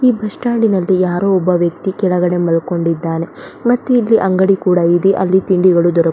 ಈ ಬಸ್ಸ್ಟ್ಯಾಂಡ್ ನಲ್ಲಿ ಯಾರೋ ಒಬ್ಬ ವ್ಯಕ್ತಿ ಕೆಳಗಡೆ ಮಲ್ಕೊಂಡಿದ್ದಾನೆ ಮತ್ತೆ ಇಲ್ಲಿ ಅಂಗಡಿ ಕೂಡ ಇದೆ ಅಲ್ಲಿ ತಿಂಡಿಗಳು ದೊರಕು --